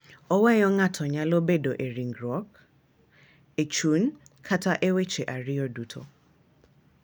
Oweyo ng’ato nyalo bedo e ringruok, e chuny, kata e weche ariyogo duto.